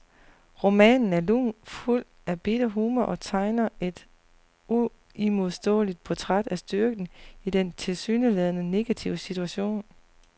Romanen er lun, fuld af bitter humor og tegner et uimodståeligt portræt af styrken i denne tilsyneladende negative situation.